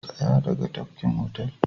Tsaya daga tafkin otal